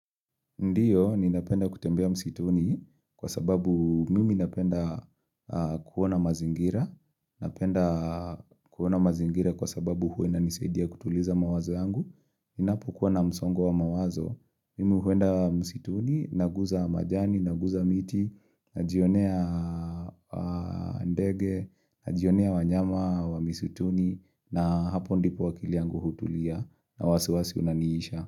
Ndiyo, ninapenda kutembea msituni kwa sababu mimi napenda kuona mazingira. Napenda kuona mazingira kwa sababu huwa inanisaidia kutuliza mawazo yangu. Ninapokuwa na msongo wa mawazo. Mimi huenda msituni, naguza majani, naguza miti, najionea ndege, najionea wanyama wa msituni, na hapo ndipo akili yangu hutulia na wasiwasi unaniisha.